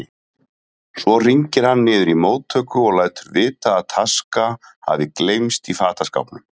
Svo hringir hann niður í móttöku og lætur vita að taska hafi gleymst í fataskápnum.